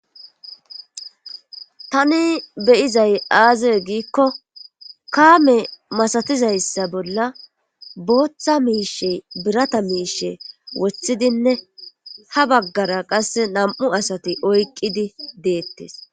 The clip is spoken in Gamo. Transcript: tani beyizay aazie giikko kaame masatizayssa bolla booththa miishe birata miishe woththidinne ha baggara qasse nam7u asati oyqqidi deettes